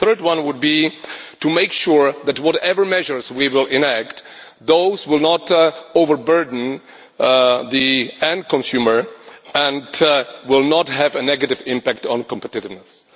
The third one would be to make sure that whatever measures we do enact, they will not overburden the end consumer and will not have a negative impact on competitiveness.